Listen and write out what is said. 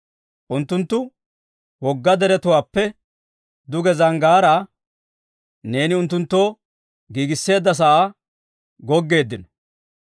Unttunttu wogga deretuwaappe duge zanggaaraa, neeni unttunttoo giigiseedda sa'aa goggeeddino.